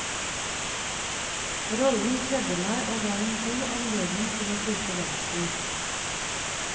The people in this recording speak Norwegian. Rollen kledde meg og var en god anledning til å bruke dansen.